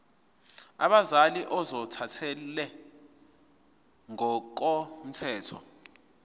abazali ozothathele ngokomthetho